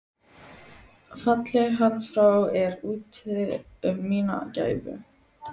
Falli hann frá er úti um mína gæfu.